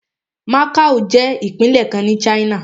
Macao jẹ́ ìpínlẹ̀ kan ní China.